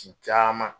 Ci caman